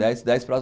Dez dez para